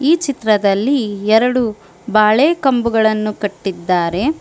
ಈ ಚಿತ್ರದಲ್ಲಿ ಎರಡು ಬಾಳೆ ಕಂಬುಗಳನ್ನು ಕಟ್ಟಿದ್ದಾರೆ.